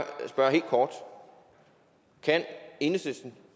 spørge helt kort kan enhedslisten